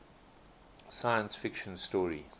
science fiction story